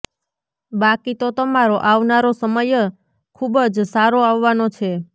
બાકી તો તમારો આવનારો સમય ખૂબ જ સારો આવવાનો છે